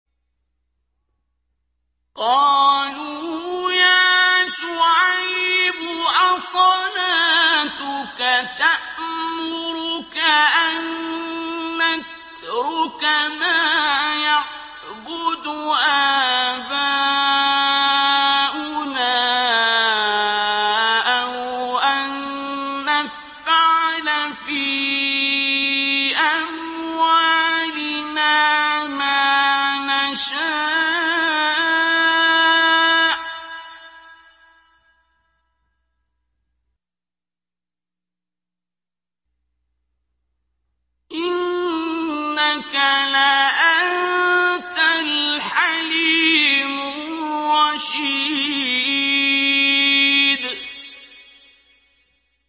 قَالُوا يَا شُعَيْبُ أَصَلَاتُكَ تَأْمُرُكَ أَن نَّتْرُكَ مَا يَعْبُدُ آبَاؤُنَا أَوْ أَن نَّفْعَلَ فِي أَمْوَالِنَا مَا نَشَاءُ ۖ إِنَّكَ لَأَنتَ الْحَلِيمُ الرَّشِيدُ